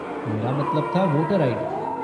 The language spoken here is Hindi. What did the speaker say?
मेरा मतलब था वोटर आई.डी.